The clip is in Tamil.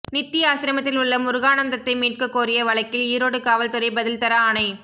நித்தி ஆசிரமத்தில் உள்ள முருகானந்தத்தை மீட்கக்கோரிய வழக்கில் ஈரோடு காவல்துறை பதில்தர ஆணை